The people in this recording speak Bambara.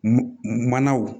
Manaw